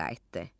Kəndə qayıtdı.